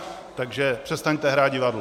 Takže přestaňte hrát divadlo.